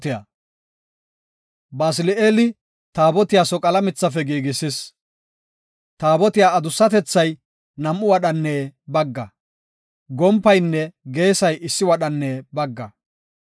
Basili7eeli Taabotiya soqala mithafe giigisis. Taabotiya adussatethay nam7u wadhanne bagga, gompaynne geesay issi wadhanne bagga.